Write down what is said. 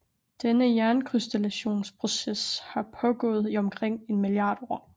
Denne jernkrystallisationsproces har pågået i omkring en milliard år